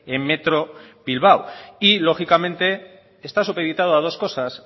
en metro bilbao y lógicamente está supeditado a dos cosas